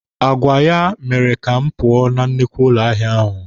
Agwa ya mere ka m pụọ na nnukwu ụlọ ahịa ahụ.